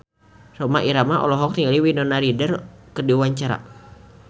Rhoma Irama olohok ningali Winona Ryder keur diwawancara